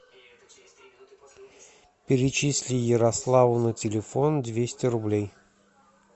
перечисли ярославу на телефон двести рублей